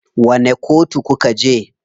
Wani kotu kuka je?